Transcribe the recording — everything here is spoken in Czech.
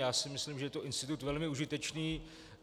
Já si myslím, že je to institut velmi užitečný.